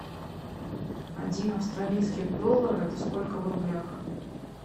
один австралийский доллар это сколько в рублях